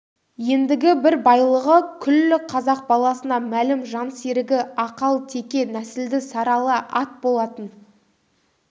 ендігі бір байлығы күллі қазақ баласына мәлім жансерігі ақалтеке нәсілді сарыала ат болатын